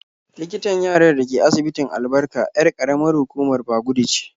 Likitan yarar da ke asibitin Albarka 'yar ƙaramar hukumar Bagudu ce.